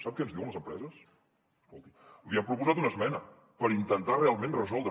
sap què ens diuen les empreses escolti li hem proposat una esmena per intentar ho realment resoldre